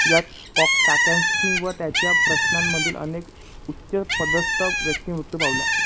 यात काकॅन्स्की व त्याच्या प्रशासनामधील अनेक उच्चपदस्थ व्यक्ती मृत्यू पावल्या.